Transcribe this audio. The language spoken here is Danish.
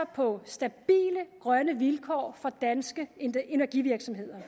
på stabile grønne vilkår for danske energivirksomheder